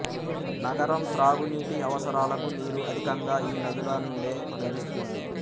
నగరం త్రాగునీటి అవసరాలకు నీరు అధికంగా ఈ నదులనుండే లభిస్తుంది